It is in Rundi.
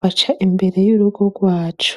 baca imbere y'urugo rwacu.